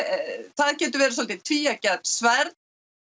það getur verið dálítið tvíeggja sverð